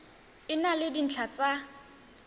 e na le dintlha tsa